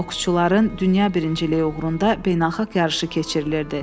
Boksçuların dünya birinciliyi uğrunda beynəlxalq yarışı keçirilirdi.